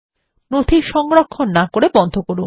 নথি সংরক্ষণ না করে বন্ধ করুন